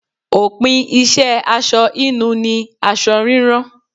Òpin iṣẹ́ aṣọ hínu ni aṣọ rírán.